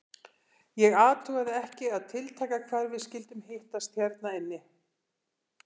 Ég athugaði ekki að tiltaka hvar við skyldum hittast hérna inni.